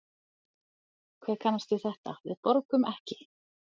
Hver kannast við þetta, við borgum ekki?